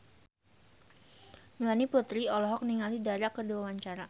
Melanie Putri olohok ningali Dara keur diwawancara